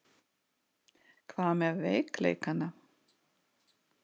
Hvað með veikleikana?